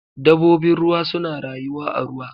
Dabobin ruwa suna rayuwa a ruwa.